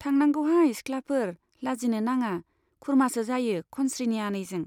थांनांगौहाय सिख्लाफोर, लाजिनो नाङा, खुरमासो जायो खनस्रीनि आनैजों।